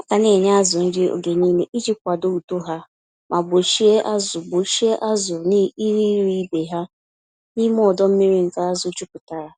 Aga nenye azụ nri oge nile iji kwadoo uto ha, ma gbochie azụ gbochie azụ ineri ibe ha, n'ime ọdọ-mmiri nke azụ juputara.